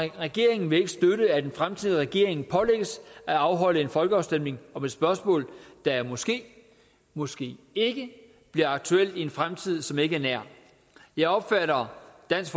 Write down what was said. regeringen vil ikke støtte at en fremtidig regering pålægges at afholde en folkeafstemning om et spørgsmål der måske måske ikke bliver aktuelt i en fremtid som ikke er nær jeg opfatter dansk